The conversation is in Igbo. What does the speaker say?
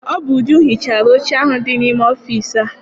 Ọ bụ Uju hichara oche ahụ dị n'ime ọfịịsi a.